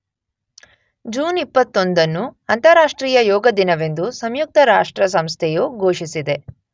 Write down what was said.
June ೨೧ ಅನ್ನು ಅಂತರಾಷ್ತ್ರೀಯ ಯೋಗ ದಿನವೆಂದು ಸಂಯುಕ್ತ ರಾಷ್ಟ್ರ ಸಂಸ್ಥೆ ಯು ಘೂಷಿಸಿದೆ.